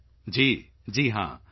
ਜੀ ਹਾਂ ਯੂ